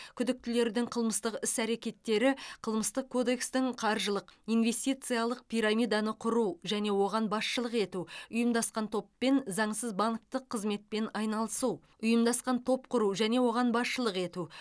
күдіктілердің қылмыстық іс әрекеттері қылмыстық кодекстің қаржылық инвестициялық пирамиданы құру және оған басшылық ету ұйымдасқан топпен заңсыз банктік қызметпен айналысу ұйымдасқан топ құру және оған басшылық ету